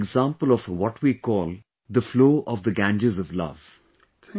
In a way, you are an example of what we call the flow of the Ganges of love